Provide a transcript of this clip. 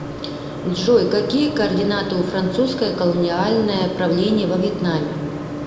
джой какие координаты у французское колониальное правление во вьетнаме